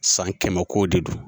San kɛmɛ kow de don.